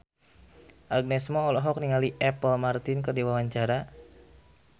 Agnes Mo olohok ningali Apple Martin keur diwawancara